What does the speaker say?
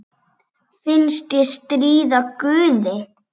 Finnst ég stríða guði.